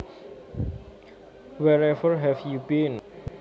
Wherever have you been